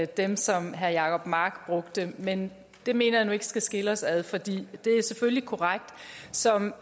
dem som herre jacob mark brugte men det mener jeg nu ikke skal skille os ad for det er selvfølgelig korrekt som